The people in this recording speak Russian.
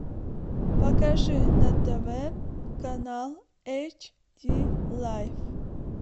покажи на тв канал эйч ди лайф